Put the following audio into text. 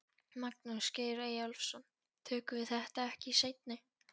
Magnús Geir Eyjólfsson: Tökum við þetta ekki í seinni?